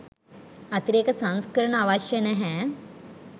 අතිරේක සංස්කරණ අවශ්‍ය නැහැ